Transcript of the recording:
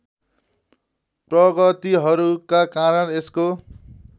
प्रगतिहरूका कारण यसको